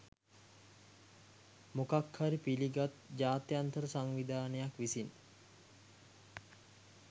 මොකක් හරි පිළිගත් ජාත්‍යන්තර සංවිධානයක් විසින්